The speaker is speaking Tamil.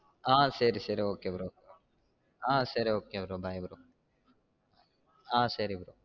ஆஹ் சரி சரி okay bro ஆஹ் சரி okay bro bye bro